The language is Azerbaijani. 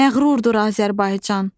Məğrurdur Azərbaycan.